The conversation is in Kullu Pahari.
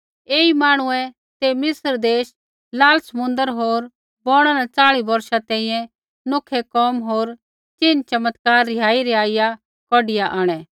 ऐई मांहणुऐ ते मिस्र देश लाल समुन्द्र होर बौणा न च़ाली बौर्षा तैंईंयैं नौखै कोम होर चिन्ह चमत्कार रिहाईरिहाइआ कौढिआ आंणै